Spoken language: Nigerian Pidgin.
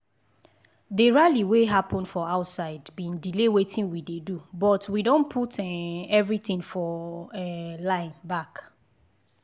the rally wey happen for outside been delay weitin we dey do but we don put um everything for um line back